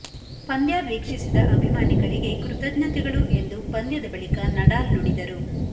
ಪಂದ್ಯ ವೀಕ್ಷಿಸಿದ ಅಭಿಮಾನಿಗಳಿಗೆ ಕೃತಜ್ಞತೆಗಳು ಎಂದು ಪಂದ್ಯದ ಬಳಿಕ ನಡಾಲ್ ನುಡಿದರು